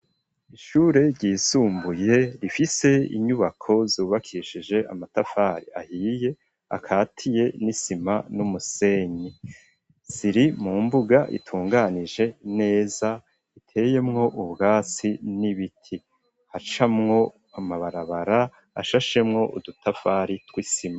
Ishure ryisumbuye, rifise inyubako zubakishije amatafari ahiye, akatiye n'isima n'umusenyi, ziri mu mbuga itunganije neza iteyemwo ubwatsi n'ibiti, hacamwo amabarabara ashashemwo udutafari tw'isima.